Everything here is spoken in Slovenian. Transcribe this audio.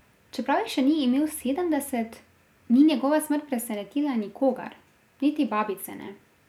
Čeprav jih še ni imel sedemdeset, ni njegova smrt presenetila nikogar, niti babice ne.